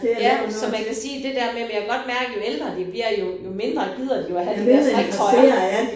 Ja så man kan sige det der med men jeg kan godt mærke jo ældre de bliver jo jo mindre gider de jo at have de der striktrøjer